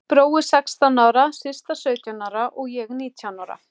Brói sextán ára, Systa sautján ára og ég nítján ára.